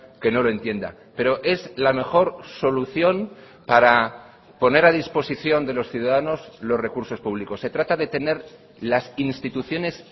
que no lo entienda pero es la mejor solución para poner a disposición de los ciudadanos los recursos públicos se trata de tener las instituciones